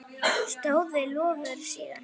Stóð við loforð sín.